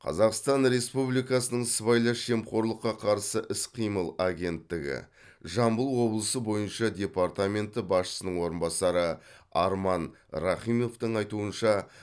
қазақстан республикасының сыбайлас жемқорлыққа қарсы іс қимыл агенттігі жамбыл облысы бойынша департаменті басшысының орынбасары арман рахимовтың айтуынша